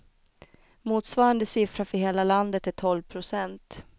Motsvarande siffra för hela landet är tolv procent.